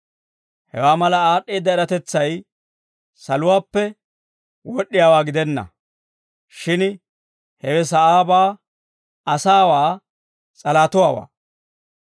Hewaa mala aad'd'eedda eratetsay saluwaappe wod'd'iyaawaa gidenna; shin hewe sa'aabaa, asaawaa, s'alahatuwaa.